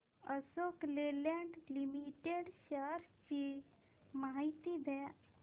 Ashok Leyland limited shares ची माहिती द्या